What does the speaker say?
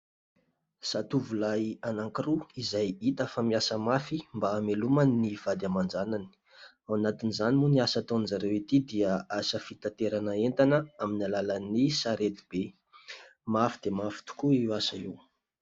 Zatovolahy anankiroa izay hita fa miasa mafy mba hamelomany ny vady aman-janany; ao anatin'izany moa ny asa ataon'izy ireo ity dia asa fitaterana entana amin'ny alàlan'ny saretibe, mafy dia mafy tokoa io asa io.